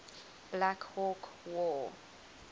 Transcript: black hawk war